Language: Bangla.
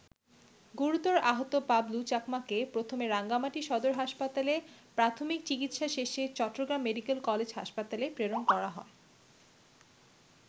গুরুতর আহত পাবলু চাকমাকে প্রথমে রাঙামাটি সদর হাসপাতালে প্রাথমিক চিকিৎসা শেষে চট্টগ্রাম মেডিকেল কলেজ হাসপাতালে প্রেরণ করা হয়।